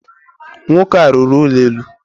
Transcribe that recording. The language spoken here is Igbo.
Nwoke a rụrụ ụlọ elu.